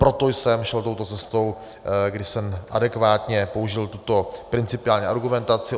Proto jsem šel touto cestou, kdy jsem adekvátně použil tuto principiální argumentaci.